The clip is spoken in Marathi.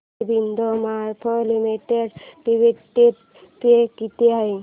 Aurobindo pharma limited dividend pay किती आहे